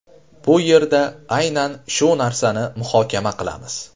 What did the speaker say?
Bu yerda aynan shu narsani muhokama qilamiz.